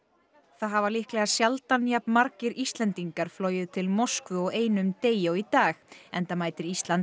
það hafa líklega sjaldan jafn margir Íslendingar flogið til Moskvu á einum degi og í dag enda mætir Ísland